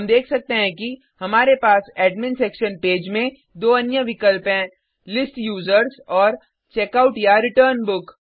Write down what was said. हम देख सकते हैं कि हमारे पास एडमिन सेक्शन पेज में दो अन्य विकल्प हैं लिस्ट यूजर्स और checkoutरिटर्न बुक